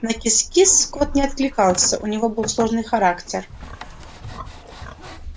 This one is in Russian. на кис-кис кот не откликался у него был сложный характер